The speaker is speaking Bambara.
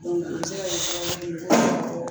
O bɛ se ka kɛ sababu ye